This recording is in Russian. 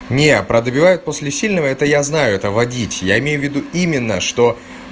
не продавай после сильного это я знаю это водить я имею в виду именно что